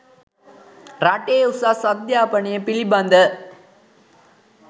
රටේ උසස් අධ්‍යාපනය පිළිබඳ